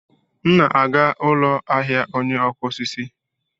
M na-aga ụlọ ahịa ọnye okụ osisi.